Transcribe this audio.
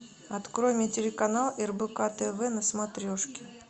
открой мне телеканал рбк тв на смотрешке